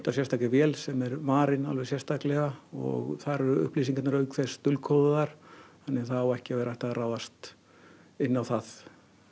sérstakri vél sem er varin alveg sérstaklega og þar eru upplýsingarnar auk þess dulkóðaðar þannig að það á ekki að vera hægt að ráðast inn á það